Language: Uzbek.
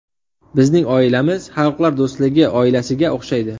Bizning oilamiz xalqlar do‘stligi oilasiga o‘xshaydi.